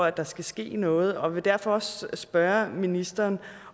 at der skal ske noget og vil derfor også spørge ministeren